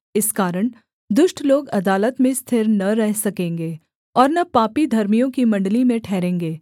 इस कारण दुष्ट लोग अदालत में स्थिर न रह सकेंगे और न पापी धर्मियों की मण्डली में ठहरेंगे